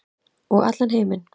Og allan heiminn.